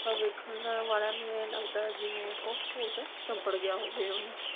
ਵੇਖਣ ਵਾਲਿਆਂ ਨੂੰ ਏਂ ਲਗਦਾ ਓਹੋ ਭੂਤ ਚੁੰਬੜ ਗਿਆ ਹੋਵੇ ਓਹਨੂੰ